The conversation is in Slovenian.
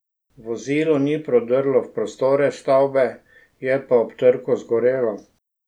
Vozilo ni prodrlo v prostore stavbe, je pa ob trku zagorelo.